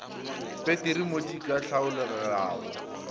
peteri mo di ka hlaelelago